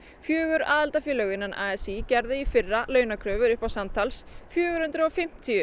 fjögur aðildarfélög a s í gerðu í fyrra launakröfur upp á samtals fjögur hundruð og fimmtíu